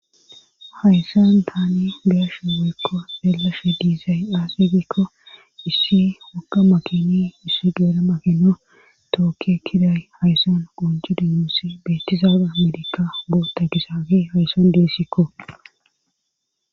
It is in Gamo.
hayssan tani be'ashe woykko xelashe diizay aasegikko issi wakka makini issi geera makinno tookke kiday hayssan qunju dinuosi beetizaabe melika boota gizagey hayssan deessikko